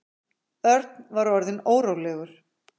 Örn var orðinn órólegur.